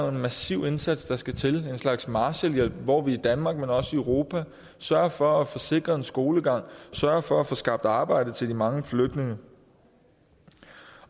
en massiv indsats der skal til en slags marshallhjælp hvor vi i danmark men også i europa sørger for at få sikret skolegang og sørger for at få skabt arbejde til de mange flygtninge